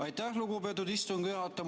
Aitäh, lugupeetud istungi juhataja!